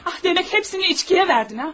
Ah, demək hamısını içkiyə verdin ha?